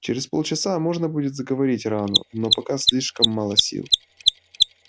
через полчаса можно будет заговорить рану но пока слишком мало сил